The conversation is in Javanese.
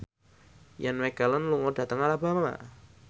Ian McKellen lunga dhateng Alabama